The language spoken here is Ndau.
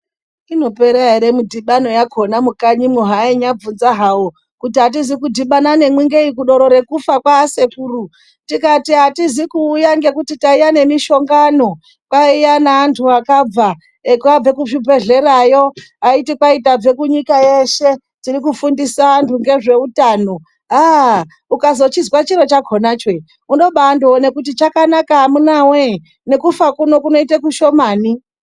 Inopera ere midhibano yakona mukanyimwo hainyabvunza hawo kuti atizi kudhibana nemwi ngeyi kudoro rekufa kwaasekuru tikati atizi kuuya ngekuti taiya nemushongano kwaiya neantu akabva, akabve kuzvibhehlerayo aiti kwai tabve kunyika yeshe tirikufundisa anhu ngezveutano, aah! ukazochizwa chiro chakonacho unoba andoone kuti chakanaka amunawe! nekufa kuno kunoite kushomani.